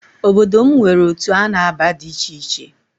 Obodo m nwere otu a na-aba di icheiche